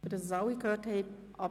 Damit es alle gehört haben: